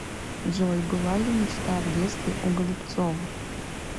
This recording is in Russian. джой была ли мечта в детстве у голубцова